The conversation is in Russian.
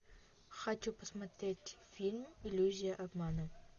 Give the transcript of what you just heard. хочу посмотреть фильм иллюзия обмана